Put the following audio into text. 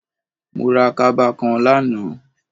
Mo ra kaba kan lánàá